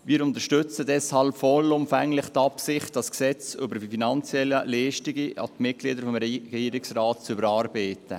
Wir unterstützen deshalb vollumfänglich die Absicht, das Gesetz über die finanziellen Leistungen an die Mitglieder des Regierungsrates zu überarbeiten.